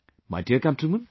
My dear countrymen,